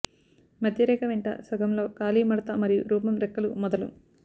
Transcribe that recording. మధ్య రేఖ వెంట సగం లో ఖాళీ మడత మరియు రూపం రెక్కలు మొదలు